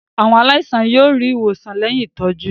Àwọn aláìsàn yóò rí ìwòsàn lẹ́yìn ìtọ́jú.